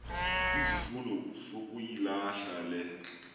izifundo sukuyilahla le